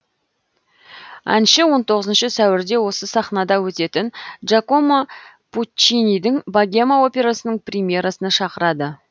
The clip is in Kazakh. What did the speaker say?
әнші он тоғызыншы сәуірде осы сахнада өтетін джакома пуччинидің богема операсының премьерасына шақырады